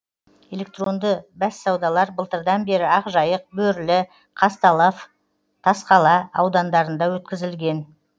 электронды бәссаудалар былтырдан бері ақжайық бөрлі казталов тасқала аудандарында өткізілген